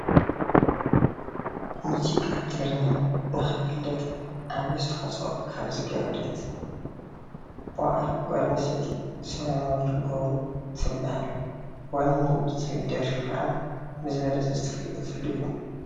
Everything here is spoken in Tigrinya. ሙዚቃ ትግርኛ ንክፍለጥ ዓብይ ኣስተዋፅኦ ካብ ዝገበረት ዋዕሮ ጓል ኣንስተይቲ ሰላማዊት ገብሩ ትባሃል፡፡ ዋኒነይ ትባሃል ደርፊ ከዓ ብዝበለፀ ዝተፈለጠትሉ እዩ፡፡